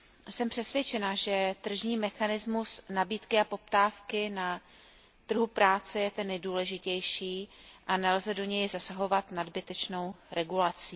Jsem přesvědčena, že tržní mechanizmus nabídky a poptávky na trhu práce je ten nejdůležitější a nelze do něj zasahovat nadbytečnou regulací.